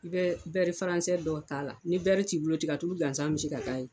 I bɛ bɛri faransɛ dɔ t'a la ni bɛri t'i bolo tiga tulu gansan bɛ se ka ka ye.